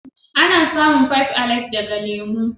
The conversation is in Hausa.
Ana samun "five alive " daga lemu.